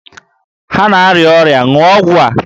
Ha na-arịa ọrịa, ṅụọ ọgwụ a!